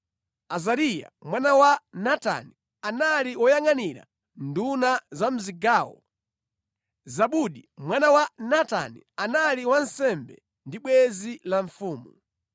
Azariya mwana wa Natani, anali woyangʼanira nduna za mʼzigawo; Zabudi mwana wa Natani, anali wansembe ndi bwenzi la mfumu;